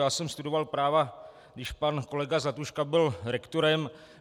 Já jsem studoval práva, když pan kolega Zlatuška byl rektorem.